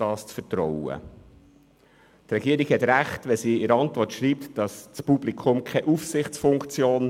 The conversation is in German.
Die Regierung hat recht, wenn sie in ihrer Antwort schreibt, das Publikum habe keine Aufsichtsfunktion.